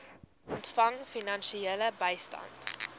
ontvang finansiële bystand